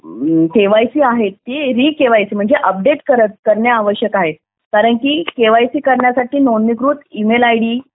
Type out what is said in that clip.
KYC आहे ती री केवायसी म्हणजे अपडेट करणे आवश्यक आहे कारण केवायसी करण्यासाठी नोंदणीकृत ई-मेल आयडी